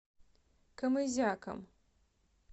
камызяком